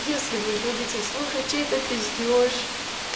если вы любите слушать чей-то пиздёж